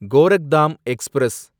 Gorakhdham express